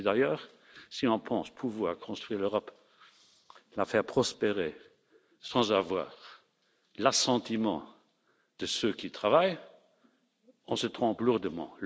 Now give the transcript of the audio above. prix. Et d'ailleurs, si on pense pouvoir construire l'Europe, la faire prospérer, sans avoir l'assentiment de ceux qui travaillent, on se trompe lourdement.